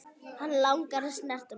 Hann langar að snerta mig.